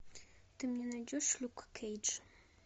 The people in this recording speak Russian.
ты мне найдешь люк кейдж